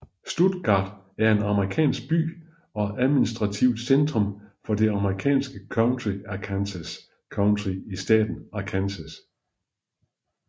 Stuttgart er en amerikansk by og administrativt centrum for det amerikanske county Arkansas County i staten Arkansas